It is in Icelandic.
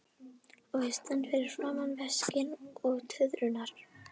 Og ég stend fyrir framan veskin og tuðrurnar.